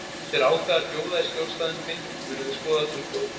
Ef þeir ákveða að bjóða í skjólstæðing minn munum við skoða tilboðið